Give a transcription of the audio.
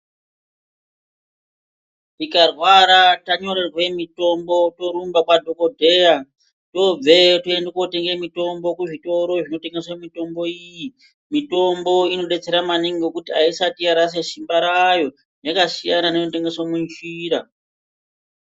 Tikarwara tanyorerwe mitombo, torumba kwadhokodheyaa tobveyo toende kundotenge mitombo kuzvitoro zvinotengeswe mitombo iyi. Mitombo inodetsera maningi ngokuti haisati yarasha simba rayoo, yakasiyana neinotengeswe munjiraa.